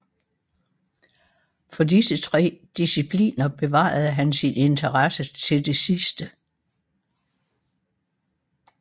For disse tre discipliner bevarede han sin interesse til det sidste